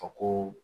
Fɔ ko